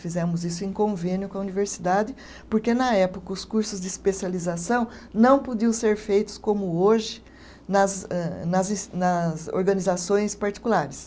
Fizemos isso em convênio com a universidade, porque na época os cursos de especialização não podiam ser feitos como hoje nas eh, nas es, nas organizações particulares.